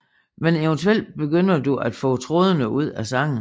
Men eventuelt begynder du at få trådene ud af sangen